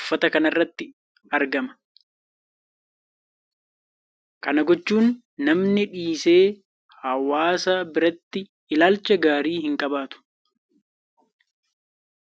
uffata kana irratti argama. Kana gochuu namni dhiise hawaasa biratti ilaalcha gaarii hinqabaatu.